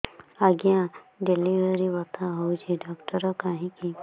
ଆଜ୍ଞା ଡେଲିଭରି ବଥା ହଉଚି ଡାକ୍ତର କାହିଁ କି